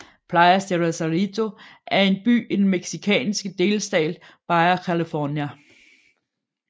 Playas de Rosarito er en by i den mexicanske delstat Baja California